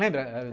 Lembra?